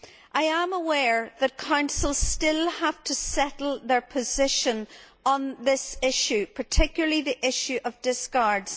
I am aware that the Council still have to settle their position on this issue, particularly the issue of discards.